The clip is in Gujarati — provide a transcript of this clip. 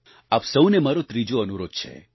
આપ સહુને મારો ત્રીજો અનુરોધ છે